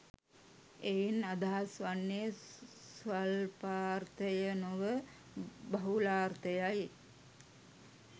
එයින් අදහස් වන්නේ ස්වල්පාර්ථය නොව බහුලාර්ථයයි.